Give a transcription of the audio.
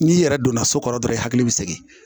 N'i yɛrɛ donna so kɔrɔ dɔrɔn i hakili bɛ segin